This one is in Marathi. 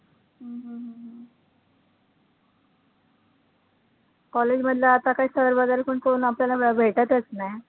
college मधलं आता काय sir वैगरे पण कोण आपल्याला भेटतचं नाही.